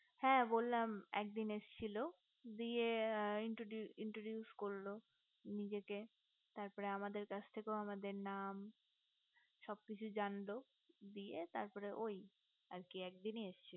হ্যা বললাম একদিন এসছিল দিয়ে introduction করলো নিজেকে তার পর আমাদের কাছ থেকেও আমাদের নাম সব কিছু জানলো দিয়ে তার পর ওই আর কি একদিনই এসছিল